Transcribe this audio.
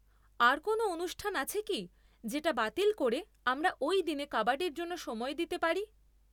আর কোনও অনুষ্ঠান আছে কি যেটা বাতিল করে আমরা ওই দিনে কাবাডির জন্য সময় দিতে পারি?